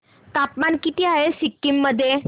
तापमान किती आहे सिक्किम मध्ये